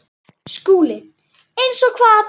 SKÚLI: Eins og hvað?